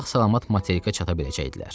Sağ-salamat materikə çata biləcəkdilər.